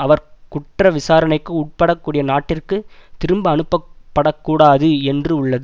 அவர் குற்றவிசாரணைக்கு உட்படக்கூடிய நாட்டிற்கு திரும்ப அனுப்பப்படக்கூடாது என்று உள்ளது